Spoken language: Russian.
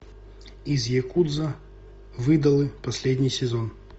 из якудза в идолы последний сезон